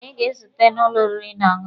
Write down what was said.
Anyị ga-ezute n'ụlọ oriri na ọṅụṅụ.